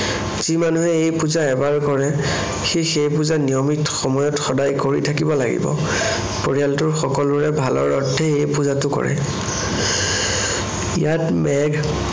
যি মানুহে এই পূজা এবাৰ কৰে, সি সেই পূজা নিয়মিত সময়ত সদায় কৰি থাকিব লাগিব। পৰিয়ালটোৰ সকলোৰে ভালৰ অৰ্থে এই পূজাটো কৰে। ইয়াত মেঘ